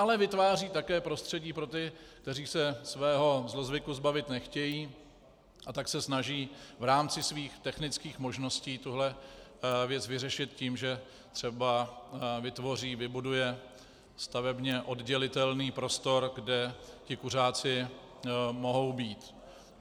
Ale vytvářejí také prostředí pro ty, kteří se svého zlozvyku zbavit nechtějí, a tak se snaží v rámci svých technických možností tuhle věc vyřešit tím, že třeba vytvoří, vybudují stavebně oddělitelný prostor, kde ti kuřáci mohou být.